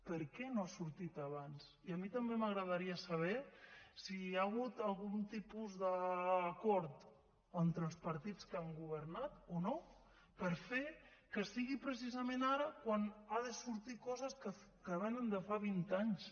per què no ha sortit abans i a mi també m’agradaria saber si hi ha hagut algun tipus d’acord entre els partits que han governat o no per fer que sigui precisament ara quan han de sortir coses que vénen de fa vint anys